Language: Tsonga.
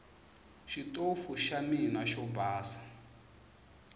xitofu xa mina xo basa